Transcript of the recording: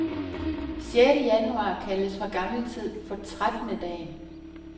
Sjette januar kaldes fra gammel tid for trettendedagen.